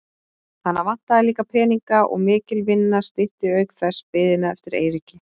Hana vantaði líka peninga og mikil vinna stytti auk þess biðina eftir Eiríki.